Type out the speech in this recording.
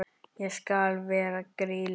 Ég skal vera Grýla.